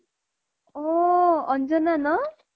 ঔ অঞ্জনা ন